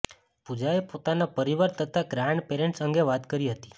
પૂજાએ પોતાના પરિવાર તથા ગ્રાન્ડ પેરેન્ટ્સ અંગે વાત કરી હતી